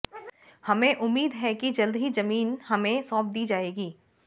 हमें उम्मीद है कि जल्द ही जमीन हमें सौंप दी जाएगी